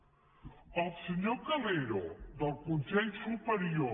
el senyor calero del consell superior